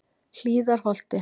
Hlíðarholti